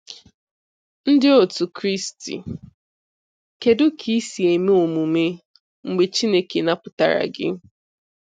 Ndị otu Kristi, kedụ ka i si eme omume mgbe Chineke napụtara gị?